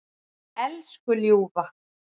Elsku ljúfa.